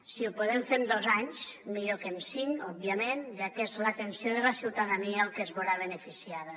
si ho podem fer en dos anys millor que en cinc òbviament ja que és l’atenció de la ciutadania el que es veurà beneficiada